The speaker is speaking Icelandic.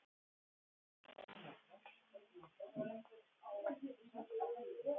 Þessi listaverk tali heilnæmt, nýtt og hlýtt mál.